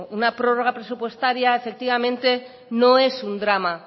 una prórroga presupuestaria efectivamente no es un drama